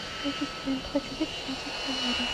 ассистент хочу записаться в солярий